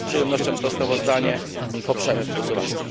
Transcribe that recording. Dlatego z przyjemnością to sprawozdanie poprzemy w głosowaniu.